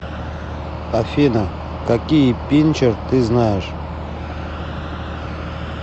афина какие пинчер ты знаешь